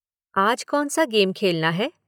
आज कौन सा गेम खेलना है?